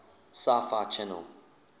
sci fi channel